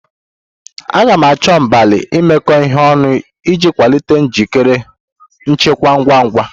A ga-achọ mgbalị imekọ ihe ọnụ iji kwalite njikere nchekwa ngwa ngwa.